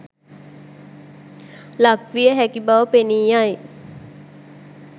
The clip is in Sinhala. ලක්විය හැකි බව පෙනී යයි.